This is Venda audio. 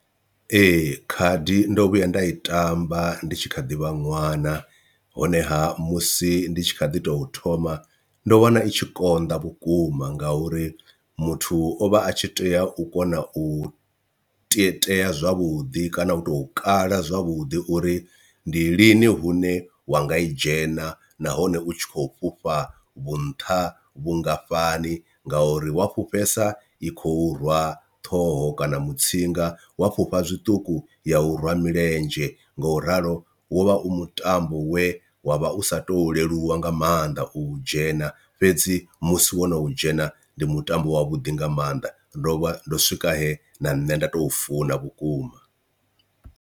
Ee, khadi ndo vhuya nda i tamba ndi tshi kha ḓi vha ṅwana honeha musi ndi tshi kha ḓi tou thoma ndo wana i tshi konḓa vhukuma ngauri muthu o vha a tshi tea u kona u tietea zwavhuḓi kana u to kala zwavhuḓi uri ndi lini hune wa nga i dzhena, nahone u tshi khou fhufha vhu nṱha vhungafhani ngauri wa fhufhesa i khou rwa ṱhoho kana mutsinga wa fhufha zwiṱuku ya u rwa milenzhe. Nga u ralo wo vha u mutambo we wa vha u sa to leluwa nga maanḓa u dzhena fhedzi musi wo no dzhena ndi mutambo wa vhuḓi nga maanḓa ndo vha ndo swika he na nṋe nda tou funa vhukuma.